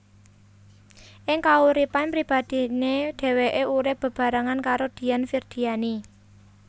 Ing kauripan pribadiné dheweké urip bebarengan karo Dian Firdianie